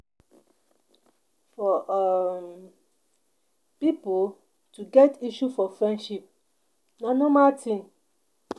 For um pipo to get issue for friendship na normal thing